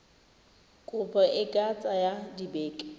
kopo e ka tsaya dibeke